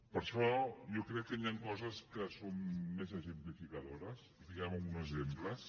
per això jo crec que hi han coses que són més exemplificadores diguem ho amb uns exemples